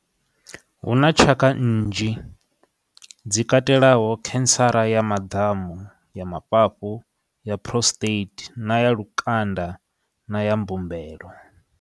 Huna tshaka nnzhi dzi katelaho cancer ya maḓamu, ya mafhafhu, ya prostate na ya lukanda na ya mbumbelo.